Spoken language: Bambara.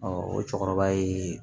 o cɛkɔrɔba ye